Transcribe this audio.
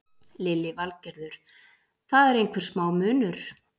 Lillý Valgerður: Það er einhver smá munur?